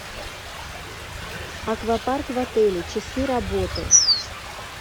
аквапарк в отеле часы работы